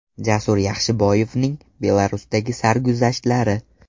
Jasur Yaxshiboyevning Belarusdagi sarguzashtlari.